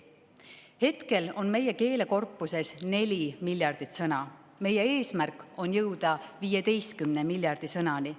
Hetkel on meie keelekorpuses 4 miljardit sõna, meie eesmärk on jõuda 15 miljardi sõnani.